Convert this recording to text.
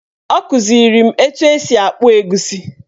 Ọ kụziri m etu esi akpụ egusi